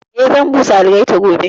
Eh, zan busa algaita gobe